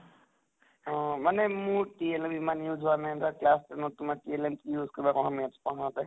অʼ মানে মোৰ time ইমান use হোৱা নাই । এবাৰ class ten ত তোমাৰ time কি use কৰিবা, মই maths পঢ়াওঁতে